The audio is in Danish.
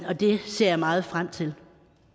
og det ser jeg meget frem til